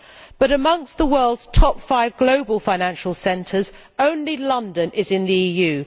But amongst the world's top five global financial centres only London is in the EU.